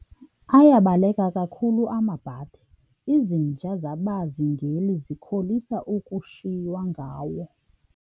Ayabaleka kakhulu amabhadi, izinja zabazingeli zikholisa ukushiywa ngawo.